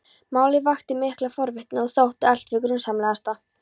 Málið vakti mikla forvitni og þótti allt hið grunsamlegasta.